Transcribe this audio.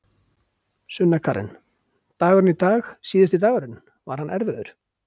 Sunna Karen: Dagurinn í dag síðasti dagurinn, var hann erfiður?